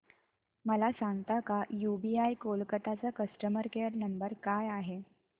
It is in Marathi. मला सांगता का यूबीआय कोलकता चा कस्टमर केयर नंबर काय आहे